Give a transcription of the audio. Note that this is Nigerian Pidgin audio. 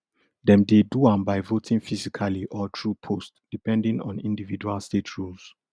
dem dey do am by voting physically or through post depending on individual state rules